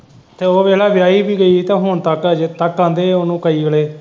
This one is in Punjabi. ਉਹ ਵੇਖਲਾ ਵਿਆਹੀ ਵੀ ਗਈ ਤਾਂ ਹੁਣ ਤੱਕ ਅਜੇ ਤੱਕ ਆਹਦੇ ਆ ਉਹਨੂੰ ਕਈ ਵੇਲੇ।